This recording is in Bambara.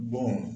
Bɔn